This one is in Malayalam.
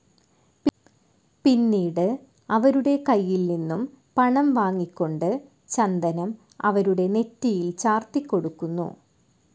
പിന്നീട് അവരുടെ കയ്യിൽ നിന്നും പണം വാങ്ങിക്കൊണ്ടു ചന്ദനം അവരുടെ നെറ്റിയിൽ ചാർത്തിക്കൊടുക്കുന്നു.